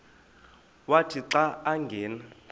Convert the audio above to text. wathi xa angena